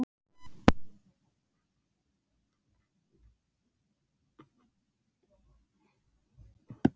Hann virti gestinn úr Selvogi fyrir sér áhugalaus.